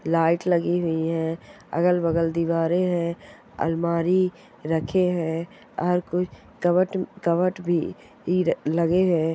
Light लगी हुई है अगल बगल दीवारे है अलमारी रखे है और कवट भी लगे है।